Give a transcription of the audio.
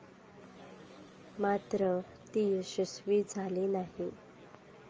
मात्र, ती यशस्वी झाली नाही.